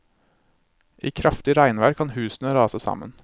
I kraftig regnvær kan husene rase sammen.